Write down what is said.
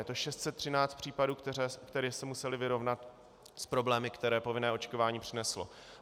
Je to 613 případů, které se musely vyrovnat s problémy, které povinné očkování přineslo.